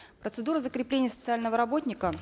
процедуру закрепления социального работника